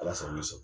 Ala sago i sago